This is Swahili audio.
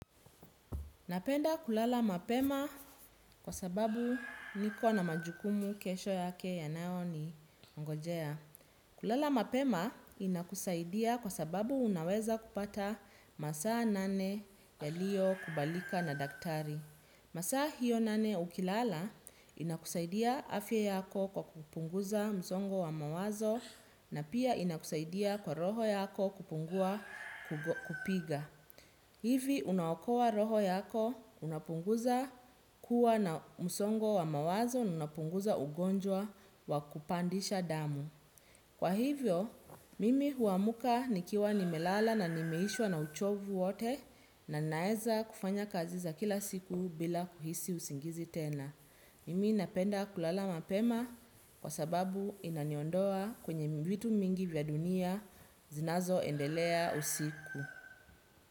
Napenda kulala mapema kwa sababu niko na majukumu kesho yake yanayo ni ngojea. Kulala mapema inakusaidia kwa sababu unaweza kupata masaa nane yaliyo kubalika na daktari. Masaa hiyo nane ukilala inakusaidia afya yako kwa kupunguza msongo wa mawazo na pia inakusaidia kwa roho yako kupungua kupiga. Hivi unaokoa roho yako unapunguza kuwa na msongo wa mawazo na unapunguza ugonjwa wa kupandisha damu. Kwa hivyo, mimi huamka nikiwa nimelala na nimeishwa na uchovu wote na naeza kufanya kazi za kila siku bila kuhisi usingizi tena. Mimi napenda kulala mapema kwa sababu inaniondoa kwenye vitu nyingi za dunia zinazo endelea usiku.